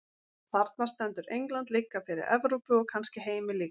Þarna stendur England líka fyrir Evrópu, og kannski heiminn líka.